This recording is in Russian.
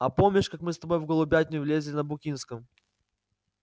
а помнишь как мы с тобой в голубятню влезли на букинском